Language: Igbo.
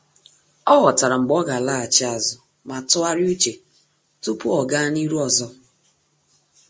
Ọ́ ghọ́tàrà mgbe ọ́ gà-àlàghàchí ázụ́ ma tụ́gharị́a úchè tupu ọ́ gàá n’ihu ọzọ.